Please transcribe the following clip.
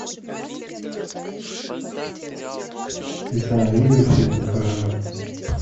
ты сам видел фильм пророк